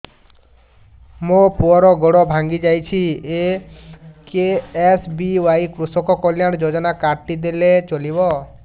ମୋ ପୁଅର ଗୋଡ଼ ଭାଙ୍ଗି ଯାଇଛି ଏ କେ.ଏସ୍.ବି.ୱାଇ କୃଷକ କଲ୍ୟାଣ ଯୋଜନା କାର୍ଡ ଟି ଦେଲେ ଚଳିବ